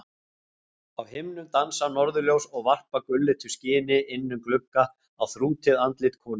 Á himnum dansa norðurljós og varpa gulleitu skini inn um glugga á þrútið andlit konunnar.